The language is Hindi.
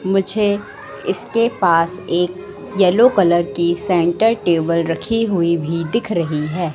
मुझे इसके पास एक येलो कलर की सेंटर टेबल रखी हुई भी दिख रही है।